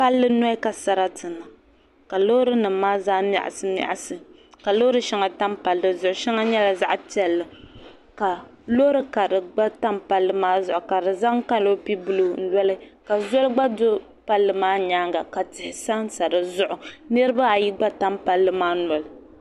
Palli zuɣu ka sarati niŋ ka loori nim miɣasi miɣasi ka loori nim maa tam palli zuɣu shɛŋa nyɛla zaɣ piɛlli ka loori karili gba tam palli maa ka bi zaŋ kanopi buluu n loli ka zoli gba do palli maa nyaanga ka tihi sansa dizuɣu niraba ayi gba tam palli maa noli